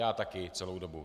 Já také celou dobu.